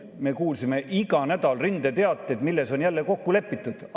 Me kuulsime iga nädal rindeteateid, et milles on jälle kokku lepitud.